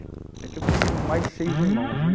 É que eu tenho mais seis irmãos, né?